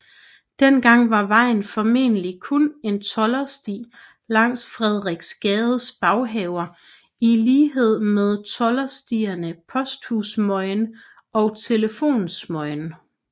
Dengang var vejen formentlig kun en toldersti langs Frederiksgades baghaver i lighed med tolderstierne Posthussmøgen og Telefonsmøgen